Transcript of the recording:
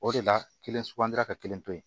O de la kelen sugandira ka kelen to yen